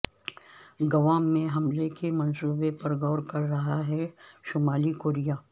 Guam میں حملے کے منصوبے پر غور کر رہا ہے شمال کوریا